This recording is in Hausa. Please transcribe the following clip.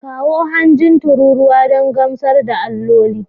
Kawo hanjin tururuwa don gamsar da alloli